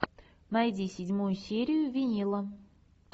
найди седьмую серию винила